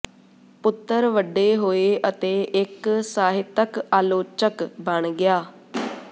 ਪੁੱਤਰ ਵੱਡੇ ਹੋਏ ਅਤੇ ਇੱਕ ਸਾਹਿਤਕ ਆਲੋਚਕ ਬਣ ਗਿਆ